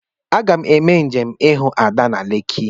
Aga m eme njem ihu Ada na Lekki..